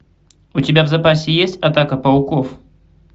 у тебя в запасе есть атака пауков